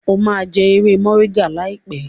o má jé ewé Moringa láìpé!